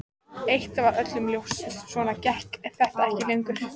Eitt var öllum ljóst: Svona gekk þetta ekki lengur.